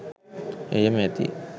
එයම ඇති.